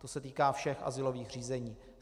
To se týká všech azylových řízení.